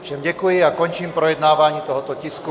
Všem děkuji a končím projednávání tohoto tisku.